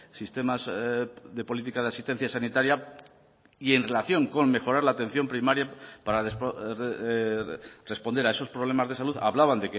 sistemas de política de asistencia sanitaria y en relación con mejorar la atención primaria para responder a esos problemas de salud hablaban